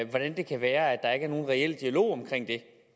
hvordan kan det være at der ikke er nogen reel dialog omkring det